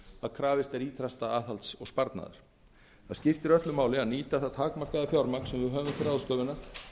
að krafist er ýtrasta aðhalds og sparnaðar það skiptir öllu máli að nýta það takmarkaða fjármagn sem við höfum til ráðstöfunar